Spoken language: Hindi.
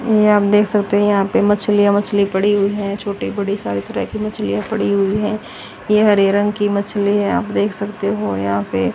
ये आप देख सकते हैं यहां पे मछलियां मछली पड़ी हुई है छोटी बड़ी सारी तरह की मछलियां पड़ी हुई है ये हरे रंग की मछली है आप देख सकते हो यहां पे--